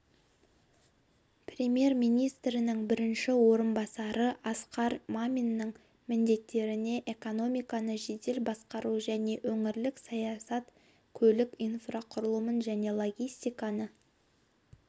премьер-министрінің бірінші орынбасары асқар маминның міндеттеріне экономиканы жедел басқару және өңірлік саясат көлік инфрақұрылымын және логистиканы